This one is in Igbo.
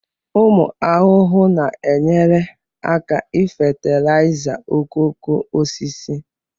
ụmụ ahụhụ na-enyere aka ifatilaiza okooko osisi